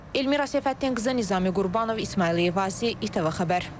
Elmira Səfəddinqızı, Nizami Qurbanov, İsmayıl Eyvazi, ATV xəbər.